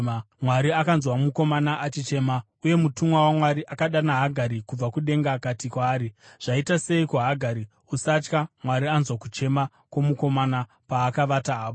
Mwari akanzwa mukomana achichema, uye mutumwa waMwari akadana Hagari kubva kudenga akati kwaari, “Zvaita seiko Hagari? Usatya; Mwari anzwa kuchema kwomukomana paakavata apo.